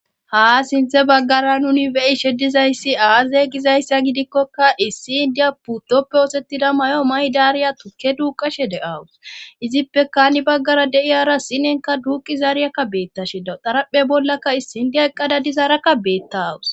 ha sinthe baggara nuni be'ishe dizayssi aaze gizayssa gidikkoka issi indiya puttoppe oosettida mayo maydaariya tukke duuqashe de'awus izippe hani baggara de'iyara sinenka duuqizaariyakka beettashi dawu daraphe bollaka issindiya eqqada dizaarakka beettaawus